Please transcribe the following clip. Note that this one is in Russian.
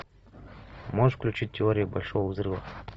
можешь включить теория большого взрыва